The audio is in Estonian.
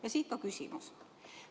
Ja siit ka küsimus.